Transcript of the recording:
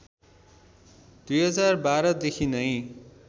२०१२ देखि नै